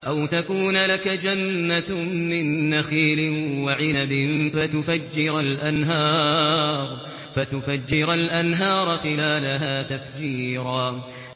أَوْ تَكُونَ لَكَ جَنَّةٌ مِّن نَّخِيلٍ وَعِنَبٍ فَتُفَجِّرَ الْأَنْهَارَ خِلَالَهَا تَفْجِيرًا